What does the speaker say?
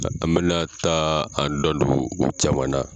An bɛna taa an da don o caman na.